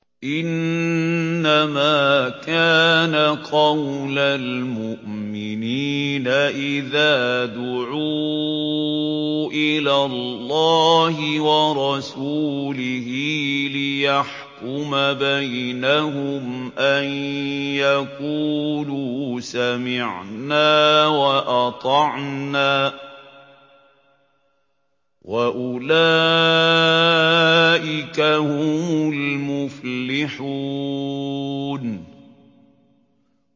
إِنَّمَا كَانَ قَوْلَ الْمُؤْمِنِينَ إِذَا دُعُوا إِلَى اللَّهِ وَرَسُولِهِ لِيَحْكُمَ بَيْنَهُمْ أَن يَقُولُوا سَمِعْنَا وَأَطَعْنَا ۚ وَأُولَٰئِكَ هُمُ الْمُفْلِحُونَ